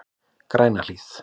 Grænahlíð